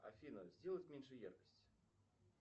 афина сделать меньше яркость